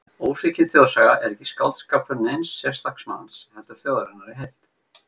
Ósvikin þjóðsaga er ekki skáldskapur neins einstaks manns, heldur þjóðarinnar í heild.